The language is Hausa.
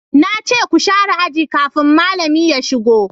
na ce ku sharé aji kafin malami ya shigo!